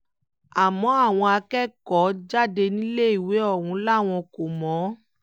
àmọ́ àwọn akẹ́kọ̀ọ́-jáde níléèwé ọ̀hún làwọn kò mọ̀ ọ́n